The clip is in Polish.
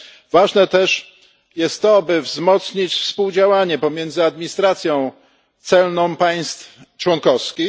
Ważne jest też to, żeby wzmocnić współdziałanie między administracjami celnymi państw członkowskich.